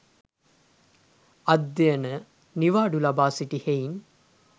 අධ්‍යයන නිවාඩු ලබා සිටි හෙයින්